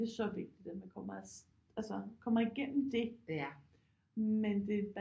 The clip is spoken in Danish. Det er så vigtigt at man kommer altså kommer igennem det men det